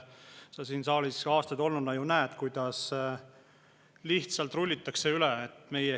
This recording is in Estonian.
Sa siin saalis aastaid olnuna ju näed, kuidas lihtsalt rullitakse üle.